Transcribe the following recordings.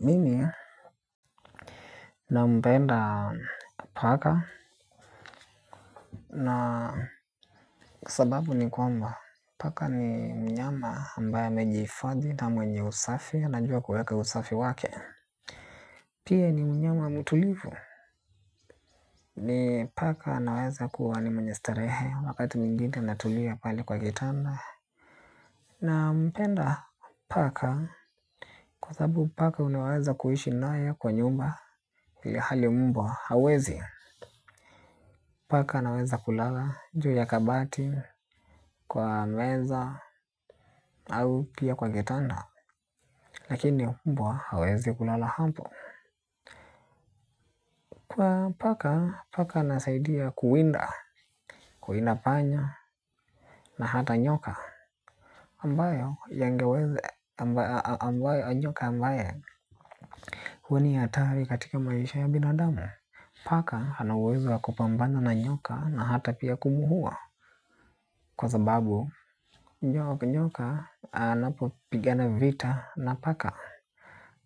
Mimi nampenda paka na sababu ni kwamba paka ni mnyama ambaye amejifadhi na mwenye usafi anajua kuweka usafi wake. Pia ni mnyama mutulivu ni paka naweza kuwa ni mwenye starehe wakati mwingine natulia pali kwa kitanda. Nampenda paka kwa sababu paka unaweza kuishi naye kwa nyumba ili hali mbwa hauwezi. Paka anaweza kulala juu ya kabati kwa meza au pia kwa gitanda. Lakini mbwa hawezi kulala hapo. Kwa paka, paka anasaidia kuwinda, kuwinda panya na hata nyoka ambayo yangeweze ambayo nyoka ambaye huwa ni hatari katika maisha ya binadamu. Paka anaweza kupambana na nyoka na hata pia kumu huwa. Kwa sababu, njoka anapo pigana vita na paka,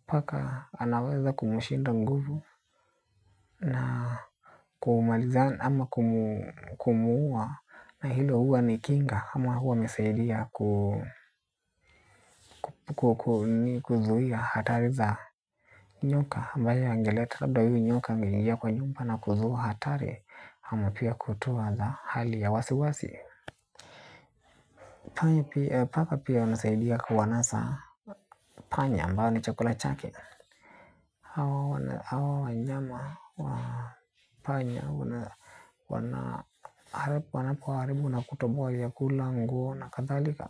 paka anaweza kumushinda nguvu na kumaliza ama kumua na hilo huwa ni kinga ama huwa amesaidia kuzuhia hatari za nyoka. Ambaye angeleta labda huu nyoka mgingia kwa nyumba na kuzua hatari ama pia kutoa za hali ya wasi wasi. Panya pia paka pia wanasaidia kuwanasa panya ambao ni chakula chake. Hawa wanyama wa panya wana wanapoharibu nakutobowa ya kula nguo na kadhalika.